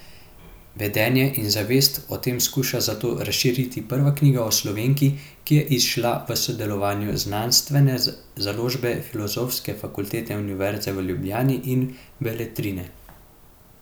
Vedenje in zavest o tem skuša zato razširiti prva knjiga o Slovenki, ki je izšla v sodelovanju Znanstvene založbe Filozofske fakultete Univerze v Ljubljani in Beletrine.